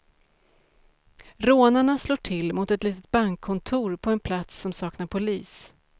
Rånarna slår till mot ett litet bankkontor på en plats som saknar polis.